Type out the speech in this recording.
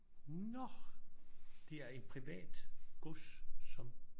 Nå det er en privat gods som